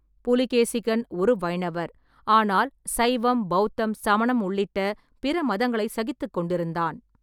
புலிகேசிகன் ஒரு வைணவர், ஆனால் சைவம், பௌத்தம், சமணம் உள்ளிட்ட பிற மதங்களைச் சகித்துக் கொண்டிருந்தான்.